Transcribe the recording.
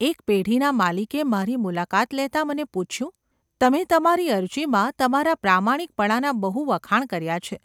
એક પેઢીના માલિકે મારી મુલાકાત લેતાં મને પૂછ્યું : ‘તમે તમારી અરજીમાં તમારા પ્રામાણિકપણાનાં બહુ વખાણ કર્યા છે.